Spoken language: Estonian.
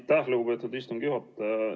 Aitäh, lugupeetud istungi juhataja!